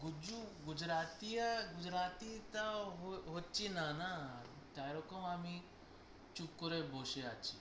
গুজু গুজরাটিয়া গুজরাটি টাও হো~হচ্ছেনা না, তাই জন্য আমি চুপ করে বসে আছি